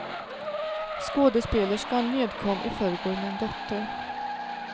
Skådespelerskan nedkom i förrgår med en dotter.